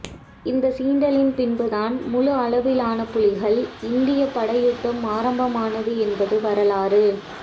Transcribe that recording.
இந்த சீண்டலின் பின்பு தான் முழு அளவிலான புலிகள் இந்தியப் படை யுத்தம் ஆரம்பமானது என்பது வரலாறு